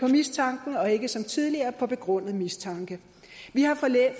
af mistanke og ikke som tidligere på begrundet mistanke vi har